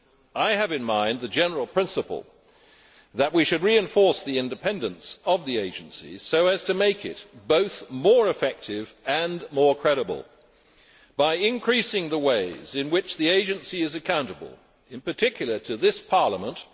I have in mind the general principle that we should reinforce the independence of the Agency so as to make it both more effective and more credible by increasing the ways in which the Agency is accountable, in particular to this Parliament.